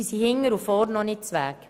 Diese sind überhaupt noch nicht bereit.